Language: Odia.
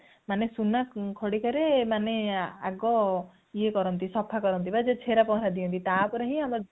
ମାନେ ସୁନା ଖଡିକା ରେ ମାନେ ଆଗ ଇଏ କରନ୍ତି ମାନେ ସଫା କରନ୍ତି ବା ଛେରା ପହଁରା ଦିଅନ୍ତି ତାପରେ ହିଁ